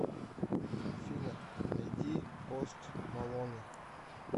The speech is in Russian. афина найди пост малонэ